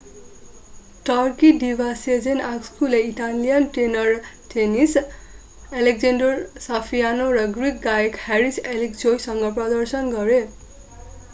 Turkey diva sezen aksu ले Italian tenor tennis alessandro safina र Greek गायक haris alexiou सँग प्रदर्शन गरे